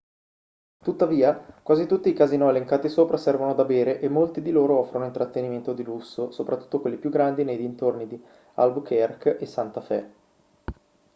tuttavia quasi tutti i casinò elencati sopra servono da bere e molti di loro offrono intrattenimento di lusso soprattutto quelli più grandi nei dintorni di albuquerque e santa fe